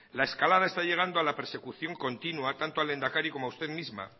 la escalada está llegando a la persecución continua tanto al lehendakari como a usted misma